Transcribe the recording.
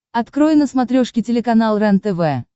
открой на смотрешке телеканал рентв